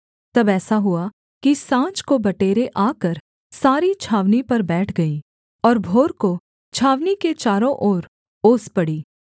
तब ऐसा हुआ कि साँझ को बटेरें आकर सारी छावनी पर बैठ गईं और भोर को छावनी के चारों ओर ओस पड़ी